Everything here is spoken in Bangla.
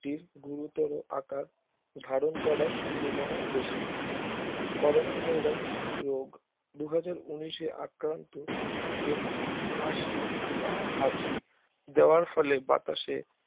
টির গুরুতর আকার ধারন করার সম্ভাবনা বেশি। Corona Virus রোগ দু হাজার উনিশে আক্রান্ত ব্যক্তি কাশি বা হাচি দেওয়ার ফলে বাতাসে